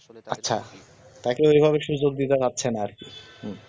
আচ্ছা তাকে এভাবে সুযোগ দিতে পারছেন আর কি হু